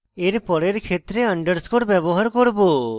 এর পরের ক্ষেত্রে underscore ব্যবহার করব